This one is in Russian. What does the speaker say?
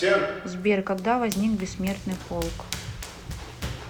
сбер когда возник бессмертный полк